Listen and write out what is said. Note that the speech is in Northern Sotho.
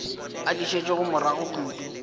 a di šetšego morago kudu